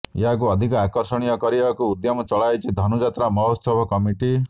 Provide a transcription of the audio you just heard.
ଏହାକୁ ଅଧିକ ଆକର୍ଷଣୀୟ କରିବାକୁ ଉଦ୍ୟମ ଚଳାଇଛି ଧନୁଯାତ୍ରା ମହୋତ୍ସବ କମିଟି